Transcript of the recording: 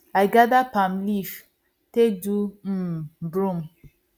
i gather palm leaves take do um broom